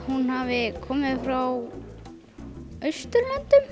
hún hafi komið frá Austurlöndum